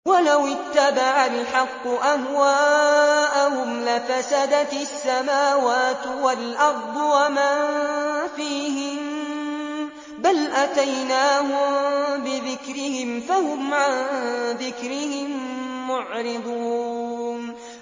وَلَوِ اتَّبَعَ الْحَقُّ أَهْوَاءَهُمْ لَفَسَدَتِ السَّمَاوَاتُ وَالْأَرْضُ وَمَن فِيهِنَّ ۚ بَلْ أَتَيْنَاهُم بِذِكْرِهِمْ فَهُمْ عَن ذِكْرِهِم مُّعْرِضُونَ